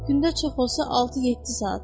Gündə çox olsa altı-yeddi saat.